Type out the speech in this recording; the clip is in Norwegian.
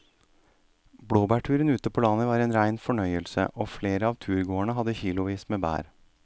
Blåbærturen ute på landet var en rein fornøyelse og flere av turgåerene hadde kilosvis med bær.